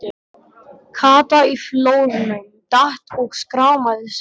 Kata í flórnum, datt og skrámaði sig.